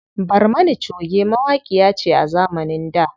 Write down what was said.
Barmana choge mawaƙiya ce a zamanin da.